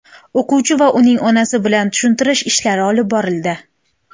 O‘quvchi va uning onasi bilan tushuntirish ishlari olib borildi.